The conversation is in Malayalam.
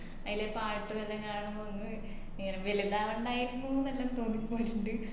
അയിലെ പാട്ടും എല്ലാം കാണുമ്പോ ഒന്ന് ഇങ്ങനെ വേലു താവണ്ടായിരുന്നുന്ന് ഒക്കെ തോന്നിപോവലിണ്ട്